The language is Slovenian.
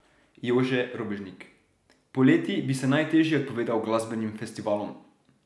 Jože Robežnik: 'Poleti bi se najtežje odpovedal glasbenim festivalom.